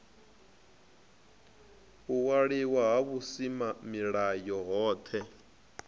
u waliwa ha vhusimamilayo hohe